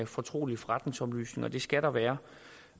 fortrolige forretningsoplysninger og det skal der være